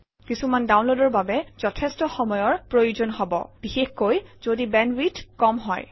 কিছুমান ডাউনলোডৰ বাবে যথেষ্ট সময়ৰ প্ৰয়োজন হব বিশেষকৈ যদি বেণ্ডৱিডথ কম হয়